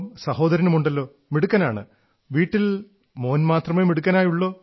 സഹോദരനമുണ്ടല്ലോ മിടുക്കനാണ് വീട്ടിൽ മോൻ മാത്രമേ മിടുക്കനായുള്ളോ